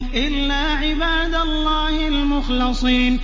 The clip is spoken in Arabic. إِلَّا عِبَادَ اللَّهِ الْمُخْلَصِينَ